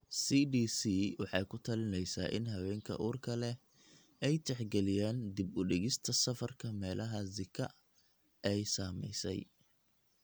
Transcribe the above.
CDC waxay ku talinaysaa in haweenka uurka leh ay tixgeliyaan dib u dhigista safarka meelaha Zika ay saameysay.